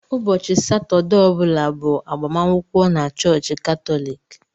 Ụbọchị Satọdee ọ bụla bụ agbamakwụkwọ na chọọchị Katọlik.